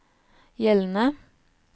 gjeldende